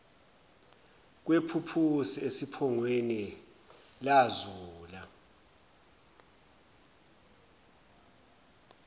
kwephuphusi esiphongweni lazula